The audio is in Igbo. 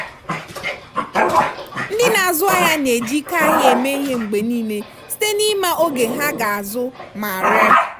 ndị na-azụ ahịa na-eji ike ahịa eme ihe mgbe niile site n'ịma oge ha ga-azụ ma ree.